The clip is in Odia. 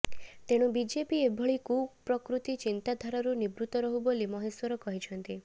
ତେଣୁ ବିଜେପି ଏଭଳି କୁପ୍ରକୃତି ଚିନ୍ତାଧାରାରୁ ନିବୃତ ରହୁ ବୋଲି ମହେଶ୍ୱର କହିଛନ୍ତି